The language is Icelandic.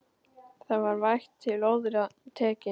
Það var vægt til orða tekið.